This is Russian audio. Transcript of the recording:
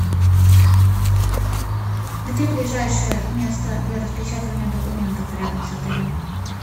где ближайшее место для распечатывания документов рядом с отелем